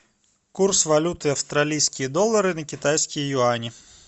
курс валюты австралийские доллары на китайские юани